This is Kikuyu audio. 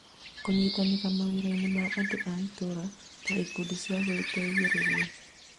Kũnyitanĩra mawĩrainĩ ma andũ a itũũra ta ikundi cia gũteithĩrĩria